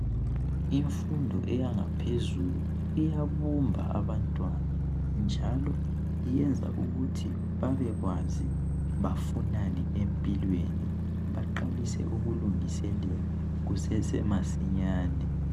Imfundo eyangaphezulu iyabumba abantwana njalo iyenza ukuthi babekwazi bafunani empilweni baqalise ukulungiselela kusese masinyane